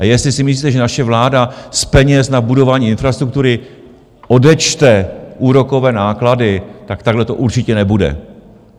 A jestli si myslíte, že naše vláda z peněz na budování infrastruktury odečte úrokové náklady, tak takhle to určitě nebude.